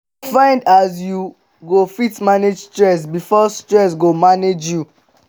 find as yu go fit manage stress bifor stress go manage yu